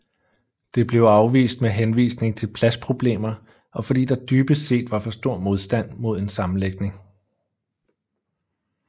Det blev afvist med henvisning til pladsproblemer og fordi der dybest set var for stor modstand mod en sammenlægning